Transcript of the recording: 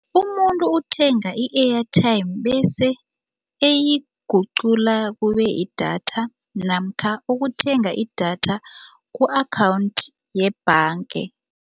Umuntu uthenga i-airtime bese eyiguqula kube yidatha namkha ukuthenga idatha ku-akhawundi yebhanga.